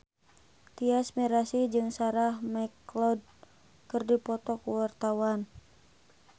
Tyas Mirasih jeung Sarah McLeod keur dipoto ku wartawan